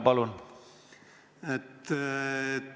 Palun!